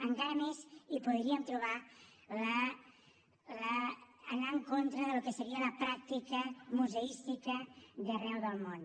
encara més hi podríem trobar l’anar en contra del que seria la pràctica museística d’arreu del món